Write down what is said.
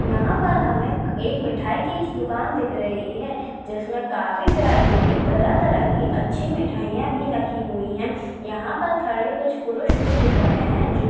यहाँ पर हमेक एक मिठाई की इस दुकान दिख रही है जिसमे काफी वैरायटी की तरह तरह की अच्छी मिठाईया भी रखी हुई है यहाँ पर खड़े कुछ पुरुष भी दिख रहे हैं जो--